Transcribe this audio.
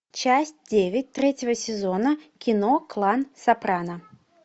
часть девять третьего сезона кино клан сопрано